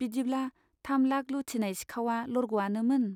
बिदिब्ला थाम लाख लुटिनाय सिखाउवा लरग'आनोमोन !